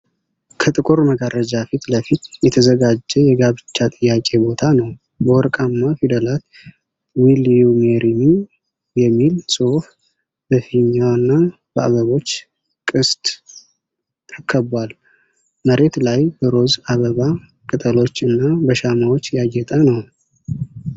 ከጥቁር መጋረጃ ፊት ለፊት የተዘጋጀ የጋብቻ ጥያቄ ቦታ ነው። በወርቃማ ፊደላት "ዊል ዩ ሜሪ ሚ ?" የሚል ጽሑፍ በፊኛና በአበቦች ቅስት ተከቧል። መሬት ላይ በሮዝ አበባ ቅጠሎች እና በሻማዎች ያጌጠ ነው።